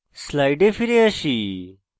slides ফিরে আসি